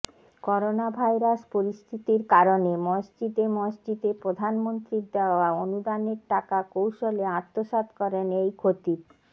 coronavirus পরিস্থিতির কারণে মসজিদে মসজিদে প্রধানমন্ত্রীর দেওয়া অনুদানের টাকা কৌশলে আত্মসাৎ করেন এই খতিব